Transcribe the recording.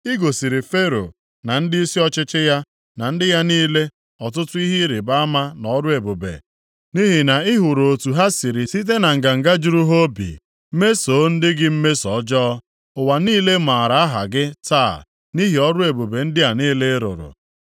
I gosiri Fero na ndịisi ọchịchị ya na ndị ya niile ọtụtụ ihe ịrịbama na ọrụ ebube nʼihi na ị hụrụ otu ha siri site na nganga juru ha obi mesoo ndị gị mmeso ọjọọ. Ụwa niile maara aha gị taa nʼihi ọrụ ebube ndị a niile ị rụrụ.